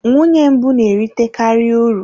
Nwunye mbụ na-erite karị uru.